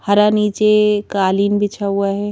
हरा नीचे कालीन बिछा हुआ है।